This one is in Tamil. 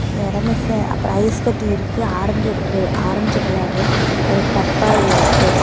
இந்த எடமிஸ்ச அப்புற ஐஸ் கட்டி இருக்கு ஆரஞ்சு ஒரு ஆரஞ்சு கலர்ல ஒரு டப்பா இருக்கு.